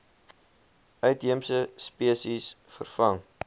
uitheemse spesies vervang